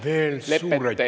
Veel kord: suur aitäh!